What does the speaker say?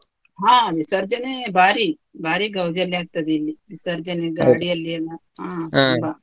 ಹಾ ವಿಸರ್ಜನೆ ಬಾರಿ, ಬಾರಿ ಗೌಜಿ ಅಲ್ಲಿ ಆಗ್ತದೆ ಇಲ್ಲಿ, ವಿಸರ್ಜನೆ .